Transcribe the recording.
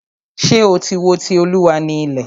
Ṣé o tí wo "Ti Olúwa ni ilẹ̀"?